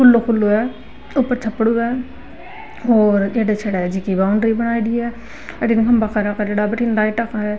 खुलो खुलो है ऊपर छपरो है --